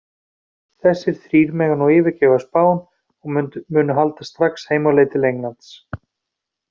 Þessir þrír mega nú yfirgefa Spán og munu halda strax heim á leið til Englands.